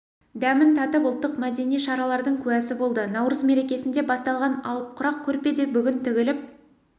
дәмін татып ұлттық-мәдени шаралардың куәсі болды наурыз мерекесінде басталған алып құрақ көрпе де бүгін тігіліп